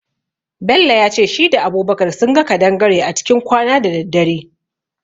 Bello yace shi da Abubakar sunga kadangare a cikin kwana da daddare.